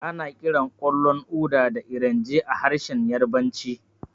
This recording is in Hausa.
Ana kiran ƙwallon Uda da Erenje a harshen Yarabanci.